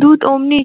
দূত ওমনি